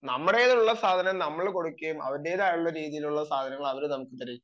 നമ്മുടെ കയ്യിലുള്ള സാധനം നമ്മൾ കൊടുക്കുകയും അവരുടേതായ സാധനം അവർ നമ്മൾക്ക് തരികയും ചെയ്യുന്നു